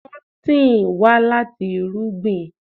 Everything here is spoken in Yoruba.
Kọ́tìn wà láti irúgbìn?